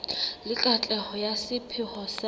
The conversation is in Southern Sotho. le katleho ya sepheo sa